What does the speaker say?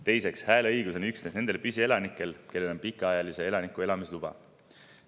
Teiseks, hääleõigus on üksnes nendel püsielanikel, kellel on pikaajalise elaniku elamisluba.